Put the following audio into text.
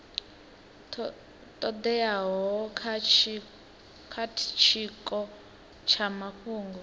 todeaho kha tshiko tsha mafhungo